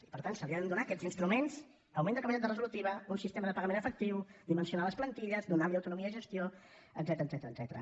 i per tant se li han de donar aquests instruments augment de capacitat resolutiva un sistema de pagament efectiu dimensionar les plantilles donar li autonomia de gestió etcètera